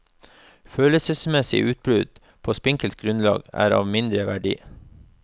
Følelsesmessige utbrudd på spinkelt grunnlag er av mindre verdi.